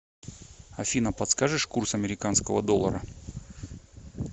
афина подскажешь курс американского доллара